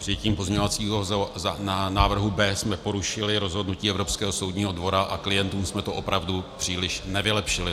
Přijetím pozměňovacího návrhu B jsme porušili rozhodnutí Evropského soudního dvora a klientům jsme to opravdu příliš nevylepšili.